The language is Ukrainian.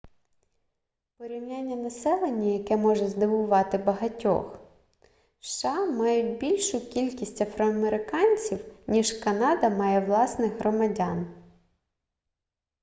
порівняння населення яке може здивувати багатьох сша мають більшу кількість афроамериканців ніж канада має власних громадян